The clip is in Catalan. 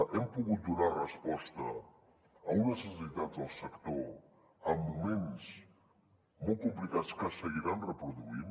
hem pogut donar resposta a unes necessitats del sector en moments molt complicats que se seguiran reproduint